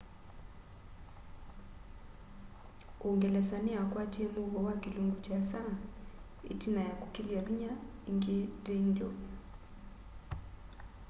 uungelesa ni ya kwatie muuo wa kilungu kiasa itina ya kukilya vinya ingi danelaw